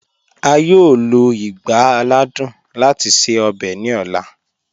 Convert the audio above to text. A yọọ lọ igbá àlàdùn láti ṣẹ ọ̀bẹ̀ ni ọla.